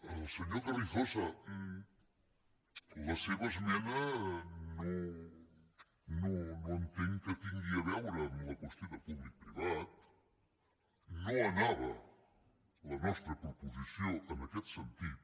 al senyor carrizosa la seva esmena no entenc que tingui a veure amb la qüestió de públic·privat no ana·va la nostra proposició en aquest sentit